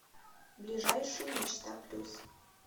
ближайший мечта плюс